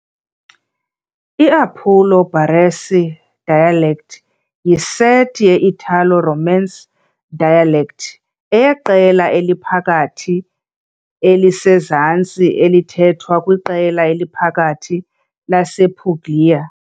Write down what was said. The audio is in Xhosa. I-Appulo-Baresi dialects yiseti ye -Italo-Romance dialects eyeqela eliphakathi elisezantsi, elithethwa kwiqela eliphakathi lasePuglia.